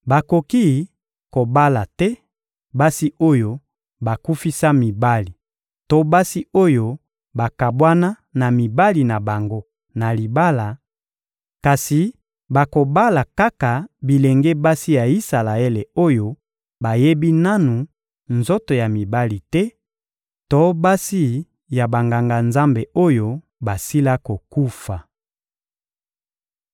Bakoki kobala te basi oyo bakufisa mibali to basi oyo bakabwana na mibali na bango na libala, kasi bakobala kaka bilenge basi ya Isalaele oyo bayebi nanu nzoto ya mibali te to basi ya Banganga-Nzambe oyo basila kokufa.